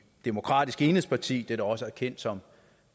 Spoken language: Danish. demokratisk enhedsparti der også er kendt som